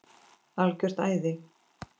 Algjört æði.